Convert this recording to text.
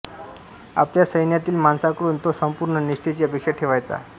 आपल्या सैन्यातील माणसांकडून तो संपूर्ण निष्ठेची अपेक्षा ठेवायचा